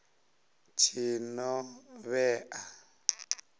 tshinovhea